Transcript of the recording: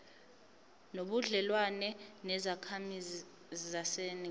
nobudlelwane nezakhamizi zaseningizimu